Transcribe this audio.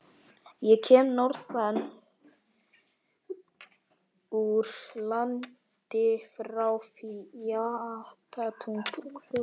Ég kem norðan úr landi- frá Flatatungu.